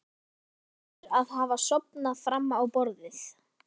Þó kann einhver að hafa sofnað fram á borðið.